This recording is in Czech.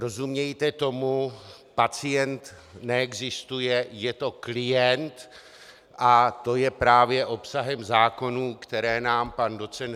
Rozumějte tomu, pacient neexistuje, je to klient a to je právě obsahem zákonů, které nám pan doc.